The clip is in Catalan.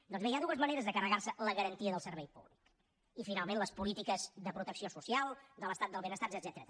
doncs bé hi ha dues maneres de carregarse la garantia del servei públic i finalment les polítiques de protecció social de l’estat del benestar etcètera